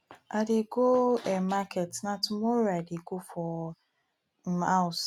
i dey go um market na tomorrow i go dey for um house